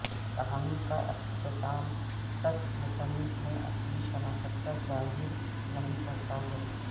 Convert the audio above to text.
کہانی کا اختتام تک مصنف نے اپنی شناخت ظاہر نہیں کرتا ہے